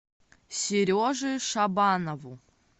сереже шабанову